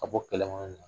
Ka bɔ kɛlɛbolo la